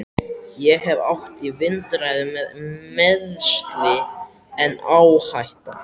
Ég hef átt í vandræðum með meiðsli, en áhætta?